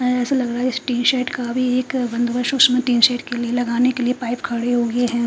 ए ऐसा लग रहा है इस टी_शर्ट का भी एक बंदोबस उसमे टिन शेड के लिए लगाने के लिए पाईप खड़े हुए हैं।